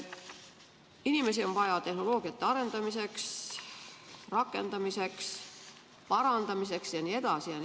Inimesi on vaja tehnoloogiate arendamiseks, rakendamiseks, parandamiseks jne.